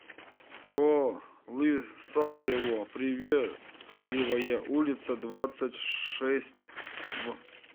полысаево приветливая улица двадцать шесть в